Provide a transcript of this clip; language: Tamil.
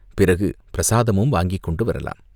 பிறகு பிரசாதமும் வாங்கிக் கொண்டு வரலாம்.